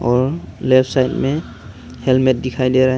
Left side में helmet दिखाई दे रहा है।